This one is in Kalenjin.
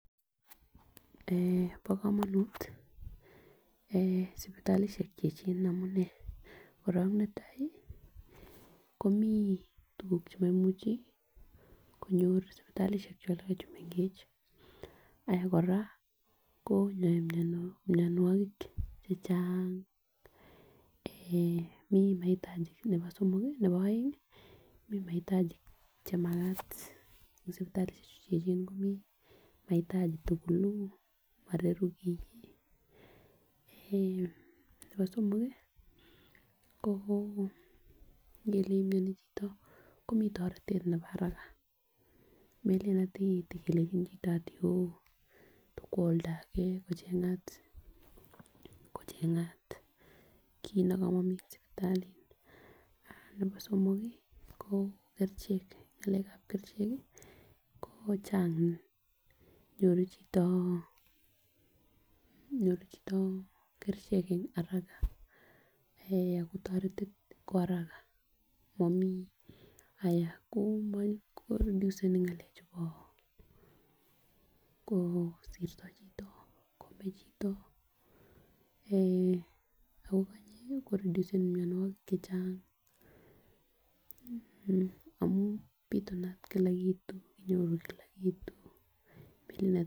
Eeh bo komonut eeh sipitalishek cheyechen en amunee korong netai komii tukuk chemoimuchi konyor sipitalishek choton chemengech Aya koraa konyor mionwek chechang eeh mii maitaji nebo somok nebo oengi mii maitaji chemaket en sipitalishek chu echen komii maitaji tukuk mororu kii eeh nebo somok kii ko ngele mioni chito komii toretet nebo haraka melelen ati telenjini chito ati ooh tokwo oldage kochengat kochengat kit nekomomii sipitali aah nebo somok kii ko kerichek ngalekab kerichek ko Cheng nyoru chito nyoru chito kerichek en haraka eeh akotoreti kwa haraka momii aya ko momii ko reduceni ngalek chubo kosirto chito komee chito eeh Ako konyek koredusen mionwokik chechang mmh amun pitunat Kila kitu kinyoru Kila kitu bilit ne.